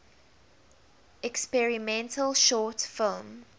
experimental short film